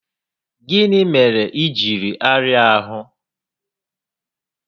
Gịnị mere iji arịa ahụ?